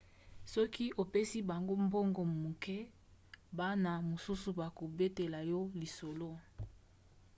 soki opesi bango mbongo moke bana mosusu bakobetela yo lisolo